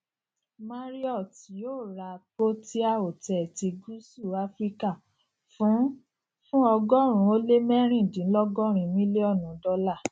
marriott yóò ra protea hotels ti gúúsù áfíríkà fún fún ọgọrùnún ó lé mẹrìndínlọgọrin mílíọnù dọlà